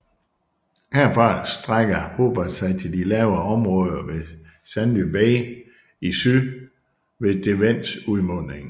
Herfra strækker Hobart sig til de lavere områder ved Sandy Bay i syd ved Derwents udmunding